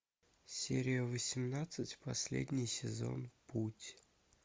серия восемнадцать последний сезон путь